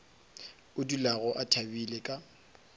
a dulago a thabile ka